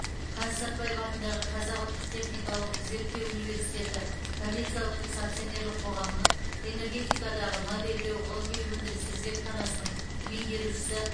қаныш сәтбаев атындағы қазақ ұлттық техникалық зерттеу университеті коммерциялық емес акционерлік қоғамының энергетикадағы модельдеу ғылыми өндірістік зертханасының меңгерушісі